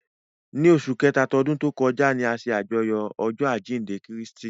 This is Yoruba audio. Ni óṣù Kẹta tọdun to kọja ni a ṣe ajọyọ ọjọ ajinde Kristi